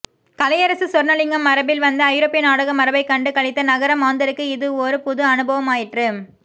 கலையரசு சொர்ணலிங்கம் மரபில் வந்த ஐரோப்பிய நாடக மரபைக் கண்டு களித்த நகர மாந்தருக்கு இது ஓர் புது அனுபவமாயிற்று